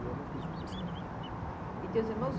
E eu não quis ir para esse caminho. E teus irmãos